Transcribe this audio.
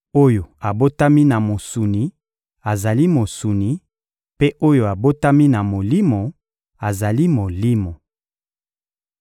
Oyo abotami na mosuni azali mosuni, mpe oyo abotami na Molimo azali molimo.